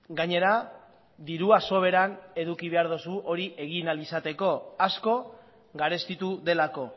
gainera dirua soberan eduki behar duzu hori egin ahal izateko asko garestitu delako